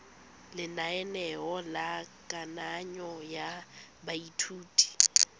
lenaneo la kananyo ya baithuti